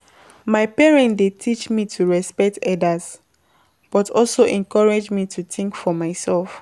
My parent dey teach me to respect elders, but also encourage me to think for myself.